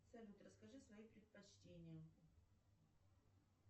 салют расскажи свои предпочтения